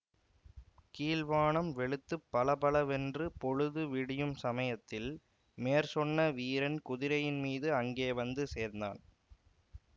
கீழ்வானம் வெளுத்துப் பலபலவென்று பொழுது விடியும் சமயத்தில் மேற்சொன்ன வீரன் குதிரையின்மீது அங்கே வந்து சேர்ந்தான்